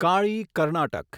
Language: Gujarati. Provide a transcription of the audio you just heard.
કાળી કર્ણાટક